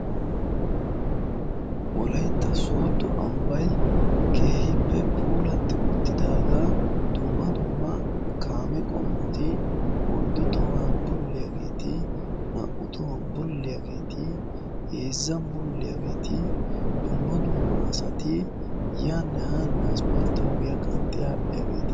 wolaytta soodo ambbay keehippe puulatti uttidaagaa dumma dumma kaame qommoti oyddu tohuwan bulliyaageeti naa''u tohuwan bulliyaageeti heezzan bulliyaageeti dumma dumma asati yaa nahaa na asppalitoogiyaa qanxxi aadhdhiyaageeta